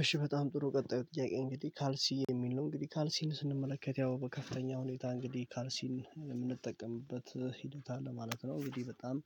እሺ በጣም ጥሩ ቀጣዩ ጥያቄ እንግዲህ ካልሲ የሚል ነው እንግዲህ ካልሲን ስንመለከት ያው በከፍተኛ ሁኔታ እንግዲህ ካልሲን የምንጠቀምበት ሂደት አለ ማለት ነው። እንግዲህ በጣም